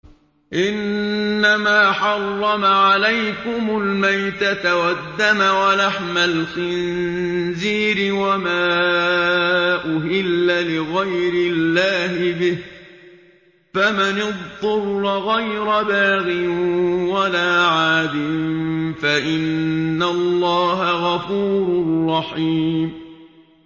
إِنَّمَا حَرَّمَ عَلَيْكُمُ الْمَيْتَةَ وَالدَّمَ وَلَحْمَ الْخِنزِيرِ وَمَا أُهِلَّ لِغَيْرِ اللَّهِ بِهِ ۖ فَمَنِ اضْطُرَّ غَيْرَ بَاغٍ وَلَا عَادٍ فَإِنَّ اللَّهَ غَفُورٌ رَّحِيمٌ